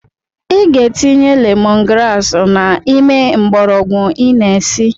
I ga-etinye lemon grass n’ime mgbọrọgwụ ị na esi